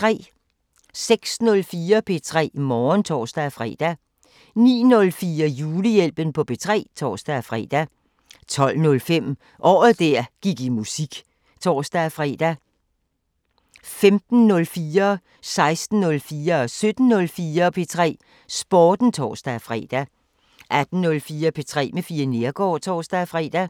06:04: P3 Morgen (tor-fre) 09:04: Julehjælpen på P3 (tor-fre) 12:05: Året der gik i musik (tor-fre) 15:04: P3 Sporten (tor-fre) 16:04: P3 Sporten (tor-fre) 17:04: P3 Sporten (tor-fre) 18:04: P3 med Fie Neergaard (tor-fre)